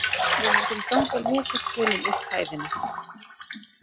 Við myndum ganga lokaspölinn upp hæðina.